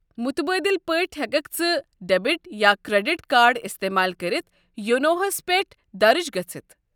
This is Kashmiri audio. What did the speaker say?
مٗتبٲدِل پٲٹھۍ ہٮ۪ککھ ژٕ ڈیٚبِٹ یا كریٚڈِٹ كارڈ استعمال كٔرِتھ یونو ہس پٮ۪ٹھ درٕج گٔژھِتھ۔